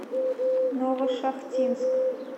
новошахтинск